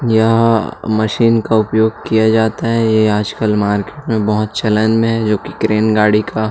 यह मशीन का उपयोग किया जाता है ये आज कल मार्केट में बहुत चलन में है जो की क्रैन गाड़ी का --